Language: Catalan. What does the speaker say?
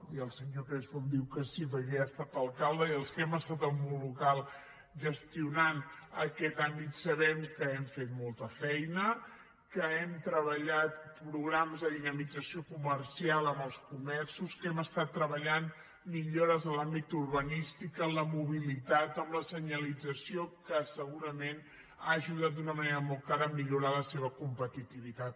i el senyor crespo em diu que sí perquè ja ha estat alcalde i els que hem estat al món local gestionant aquest àmbit sabem que hem fet molta feina que hem treballat programes de dinamització comercial amb els comerços que hem estat treballant millores en l’àmbit urbanístic en la mobilitat en la senyalització que segurament ha ajudat d’una manera molt clara a millorar la seva competitivitat